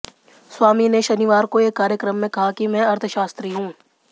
स्वामी ने शनिवार को एक कार्यक्रम में कहा कि मैं अर्थशास्त्री हूं